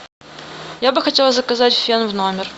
я бы хотела заказать фен в номер